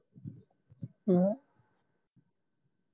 ਕੀ ਆ ਹੋਰ ਪੁੱਛਣ ਦਿਆ ਹੀ